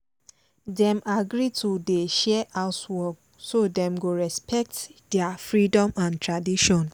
dem agree to dey share housework so dem go respect their freedom and tradition